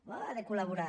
oh ha de col·laborar